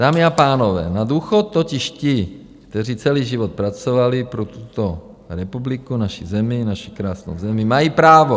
Dámy a pánové, na důchod totiž ti, kteří celý život pracovali pro tuto republiku, naši zemi, naši krásnou zemi, mají právo.